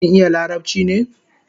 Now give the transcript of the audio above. Kin iya larabchi ne?